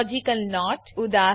logical not ઉદા